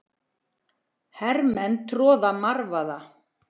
Hermenn að troða marvaða.